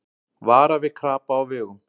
Vara við krapa á vegum